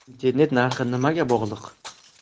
Internet narxi nimaga bog‘liq?.